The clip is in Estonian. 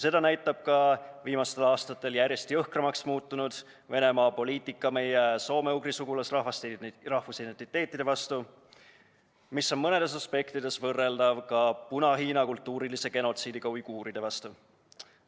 Seda näitab ka Venemaa viimastel aastatel järjest jõhkramaks muutunud poliitika meie soome-ugri sugulasrahvaste rahvusidentiteedi vastu, mis on mõnes aspektis võrreldav Puna-Hiina kultuurilise genotsiidiga uiguuride vastu.